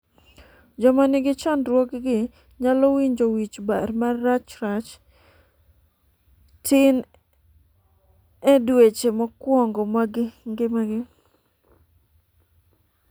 joma nigi chandruogni nyalo winjo wich bar marachrach tin e dweche mokwongo mag ngimagi